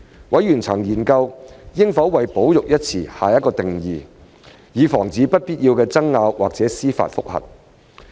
委員曾研究應否為"保育"一詞下定義，以防止不必要的爭拗或司法覆核。